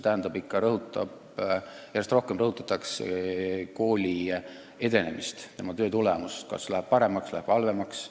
Järjest rohkem rõhutatakse kooli edenemist, tema töö tulemust: kas läheb paremaks või läheb halvemaks.